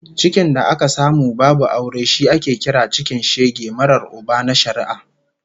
Cikin da aka samu babu aure shi ake kira cikin shege marar Uba na shari'a